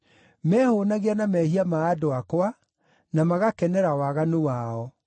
Mehũũnagia na mehia ma andũ akwa, na magakenera waganu wao.